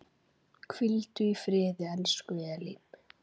Hvíldu í friði, elsku Elín.